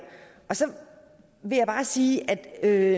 så vil jeg bare sige at